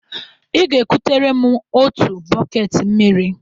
Ị ga-ekutere m otu bọket mmiri.